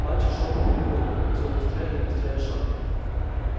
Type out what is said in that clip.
мальчик шёл по переходу все убыстряя и убыстряя шаг